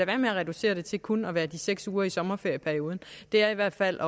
være med at reducere det til kun at være de seks uger i sommerferieperioden det er i hvert fald